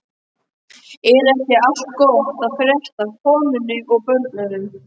Er ekki allt gott að frétta af konunni og börnunum?